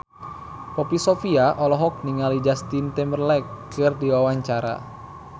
Poppy Sovia olohok ningali Justin Timberlake keur diwawancara